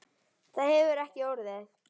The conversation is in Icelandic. Það hefur ekki orðið.